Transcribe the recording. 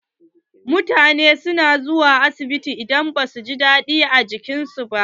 Mutane na zuwa asibiti idan ba su jin daɗin jikin su.